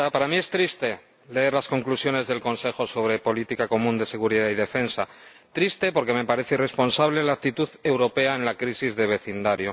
Señora Presidenta, para mí es triste leer las conclusiones del Consejo sobre política común de seguridad y defensa. Triste, porque me parece irresponsable la actitud europea en la crisis de vecindad